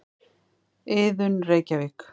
Iðunn, Reykjavík.